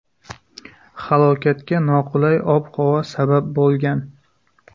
Halokatga noqulay ob-havo sabab bo‘lgan.